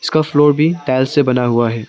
का फ्लोर भी टाइल्स से बना हुआ है।